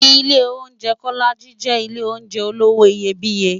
Ilé óunjè Kólàjí jè Ilé óunjè ólówó iyébìyé